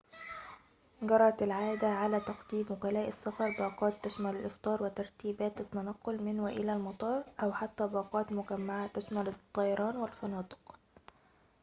جرت العادة على تقديم وكلاء السفر باقات تشمل الإفطار وترتيبات التنقل من وإلى المطار أو حتى باقات مجمّعة تشمل الطيران والفنادق